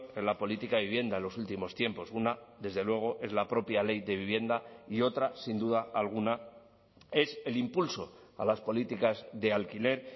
en la política de vivienda en los últimos tiempos una desde luego es la propia ley de vivienda y otra sin duda alguna es el impulso a las políticas de alquiler